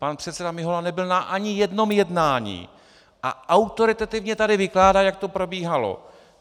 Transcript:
Pan předseda Mihola nebyl ani na jednom jednání a autoritativně tady vykládá, jak to probíhalo.